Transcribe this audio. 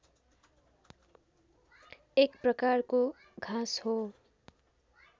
एक प्रकारको घाँस हो